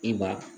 I ba